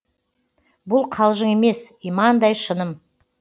бұл қалжың емес имандай шыным